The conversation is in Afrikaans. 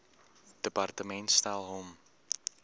departement stel hom